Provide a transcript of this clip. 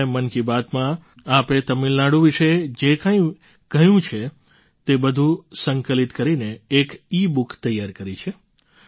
આથી મેં મન કી બાતમાં આપે તમિલનાડુ વિશે જે કંઈ બોલ્યું છે તે બધું સંકલિત કરીને એક ઇબુક તૈયાર કરી છે